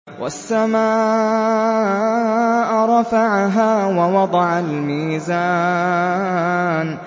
وَالسَّمَاءَ رَفَعَهَا وَوَضَعَ الْمِيزَانَ